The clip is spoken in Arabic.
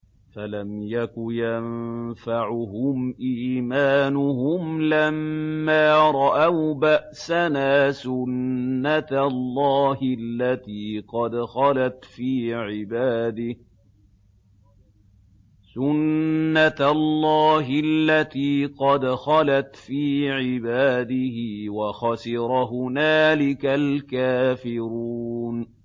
فَلَمْ يَكُ يَنفَعُهُمْ إِيمَانُهُمْ لَمَّا رَأَوْا بَأْسَنَا ۖ سُنَّتَ اللَّهِ الَّتِي قَدْ خَلَتْ فِي عِبَادِهِ ۖ وَخَسِرَ هُنَالِكَ الْكَافِرُونَ